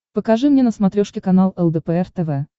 покажи мне на смотрешке канал лдпр тв